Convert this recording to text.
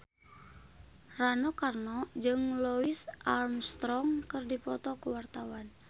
Rano Karno jeung Louis Armstrong keur dipoto ku wartawan